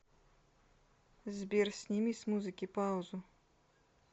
сбер сними с музыки паузу